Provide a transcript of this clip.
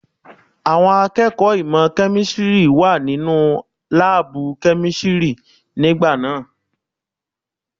Àwọn akẹ́kọ̀ọ́ ìmọ̀ kẹ́místìrì wà nínú láàbù kẹ́místìrì nígbà náà.